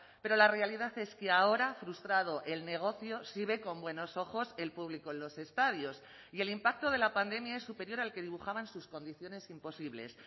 pero la realidad es que ahora frustrado el negocio sí ve con buenos ojos el público en los estadios y el impacto de la pandemia es superior al que dibujaban sus condiciones imposibles